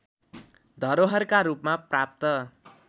धरोहरका रूपमा प्राप्त